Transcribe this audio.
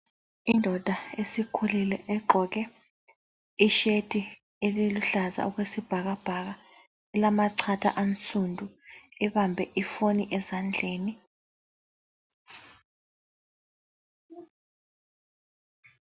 Indoda esikhulile egqoke i"shirt" eluhlaza okwesibhakabhaka elamachatha ansundu ,ibambe ifoni ezandleni.